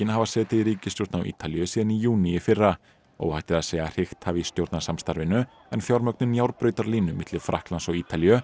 hafa setið í ríkisstjórn á Ítalíu síðan í júní í fyrra óhætt er að segja að hrikt hafi í stjórnarsamstarfinu en fjármögnun milli Frakklands og Ítalíu